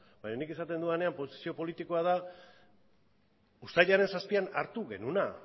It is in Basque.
baina nik esaten dudanean posizio politikoa da uztailaren zazpian hartu genuena